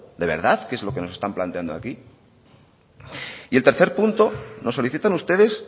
de verdad que es lo que nos están planteando aquí y el tercer punto nos solicitan ustedes